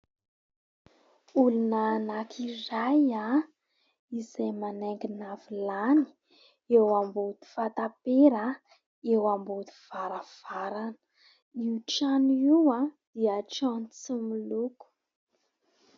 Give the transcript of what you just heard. Olona anankiray izay manaingina vilany eo ambony fatampera eo ambody varavarana ; io trano io aho dia trano tsy miloko.